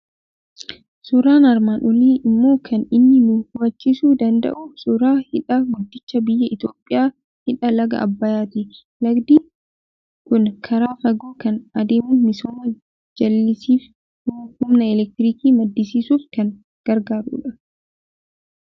Suuraan armaan olii immoo kan inni nu hubachiisuu danda'u suuraa hidha guddicha biyya Itoophiyaa, Hidha laga Abbayyaati. Lagdi kun karaa fagoo kan adeemu, misooma jallisiif, humna elektirikii maddisiisuuf kan gargaarudha.